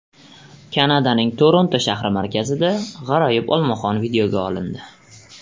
Kanadaning Toronto shahri markazida g‘aroyib olmaxon videoga olindi.